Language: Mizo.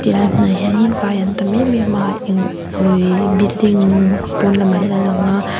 helai hmunah hianin vai an tam em em a eng awi building pawn lamah hian an lang a.